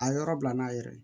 A ye yɔrɔ bila n'a yɛrɛ ye